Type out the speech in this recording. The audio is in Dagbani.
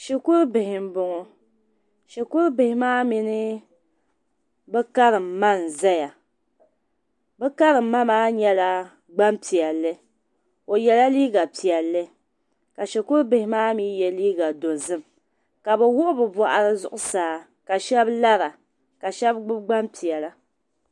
Shikuru bihi n bɔŋɔ shikuru. bihi maa mini bi karim ma nzaya bi karim ma, maa nyala ,gban piɛli o yela liiga piɛli ka shikuru bihi maa mi yɛ liiga dozim ka bi wuɣi bi bɔɣiri zuɣu saa ka shab lara ka shab gbubi gban piɛla.